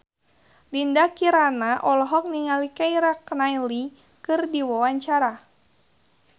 Dinda Kirana olohok ningali Keira Knightley keur diwawancara